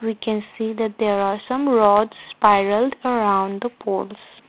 we can see that there are some rod spiral around the poles.